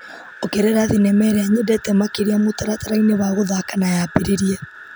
Ongerera thinema ĩrĩa nyendete makĩria mũtaratara-inĩ wa gũthaka na yambĩrĩrie.